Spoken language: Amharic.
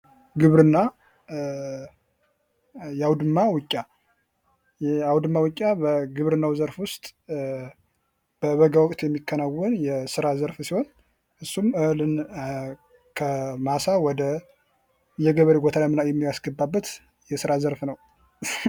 ግብርና የአዉድማ ዉቂያ:- የአዉድማ ዉቂያ በግብርናዉ ዘርፍ ዉስጥ በበጋ ወቅት የሚከናወን የስሬ ዘርፍ ሲሆን እሱም ከማሳ ወደ ገበሬ ጎተራ የሚያስገባበት የስራ ዘርፍ ነዉ።